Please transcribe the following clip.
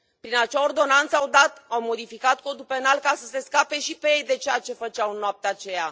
Prin acea ordonanță, au modificat Codul penal ca să se scape și pe ei de ceea ce făceau în noaptea aceea.